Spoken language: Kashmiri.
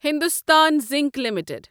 Hindustan zinc limited